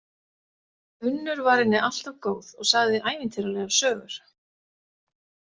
Unnur var henni alltaf góð og sagði ævintýralegar sögur.